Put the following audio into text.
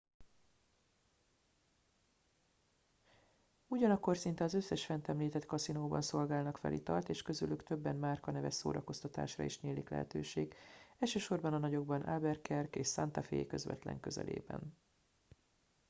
ugyanakkor szinte az összes fent említett kaszinóban szolgálnak fel italt és közülük többen márkaneves szórakoztatásra is nyílik lehetőség elsősorban a nagyokban albuquerque és santa fe közvetlen közelében